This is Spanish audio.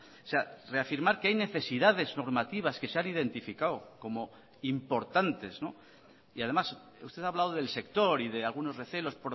o sea reafirmar que hay necesidades normativas que se han identificado como importantes y además usted ha hablado del sector y de algunos recelos